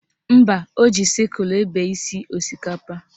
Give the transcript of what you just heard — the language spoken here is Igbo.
Mba, o ji sịkulụ ebe isi osikapa